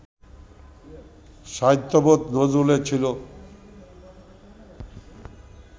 সাহিত্যবোধ নজরুলের ছিল